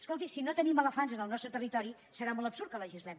escolti si no tenim elefants en el nostre territori serà molt absurd que legislem